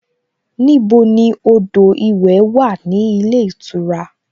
Níbo ni odò ìwẹ̀ wà ní ilé ìtura?